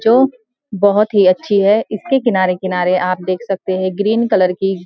जो बहोत ही अच्छी है इसके किनारे-किनारे आप देख सकते हैं ग्रीन कलर की --